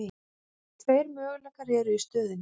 Tveir möguleikar eru í stöðunni.